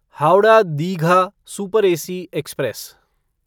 Howrah Digha super AC express